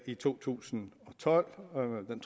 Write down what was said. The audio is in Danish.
i to tusind og tolv